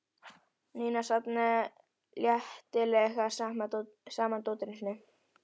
Nína safnaði letilega saman dótinu sínu.